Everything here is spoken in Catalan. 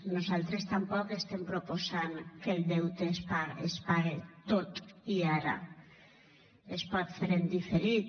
nosaltres tampoc estem proposant que el deute es pague tot i ara es pot fer en diferit